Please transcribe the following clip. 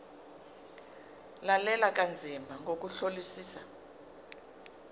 lalela kanzima ngokuhlolisisa